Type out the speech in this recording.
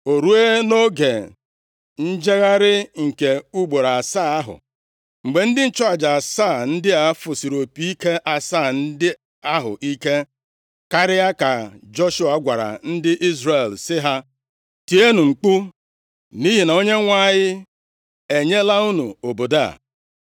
O ruo, nʼoge njegharị nke ugboro asaa ahụ, mgbe ndị nchụaja asaa ndị a fụsiri opi ike asaa ndị ahụ ike karịa, ka Joshua gwara ndị Izrel sị ha, “Tienụ mkpu! Nʼihi na Onyenwe anyị enyela unu obodo a!